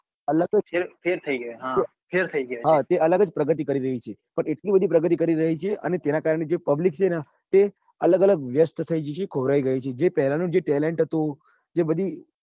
અલગ જ ફેર થઇ ગયા ફેર થઈ ગયા હા તે અલગ જ પ્રગતિ કરી રહી છે અને એટલી બધી પ્રગતિ કરી રહી છે અને તેના કારણે જે public છે ને તે અલગ અલગ વ્યસ્ત થઇ ગઈ છે ખોવારાઈ ગઈ છે જે પેલા નું જે talent હતું જે બધી